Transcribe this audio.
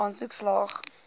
aansoek slaag